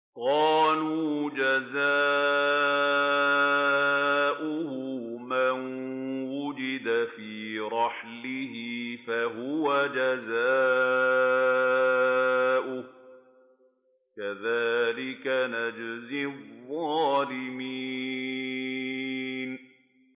قَالُوا جَزَاؤُهُ مَن وُجِدَ فِي رَحْلِهِ فَهُوَ جَزَاؤُهُ ۚ كَذَٰلِكَ نَجْزِي الظَّالِمِينَ